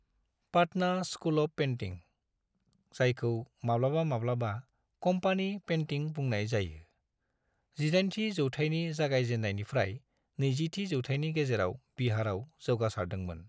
Patna school of painting, जायखौ माब्लाबा-माब्लाबा 'company painting' बुंनाय जायो, 18थि जौथाइनि जागायजेन्नायनिफ्राय 20थि जौथाइनि गेजेराव बिहाराव जौगासारदोंमोन।